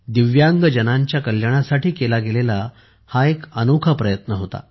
दिव्यांगजनांच्या कल्याणासाठी केला गेलेला हा एक अनोखा प्रयत्न होता